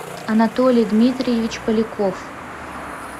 анатолий дмитриевич поляков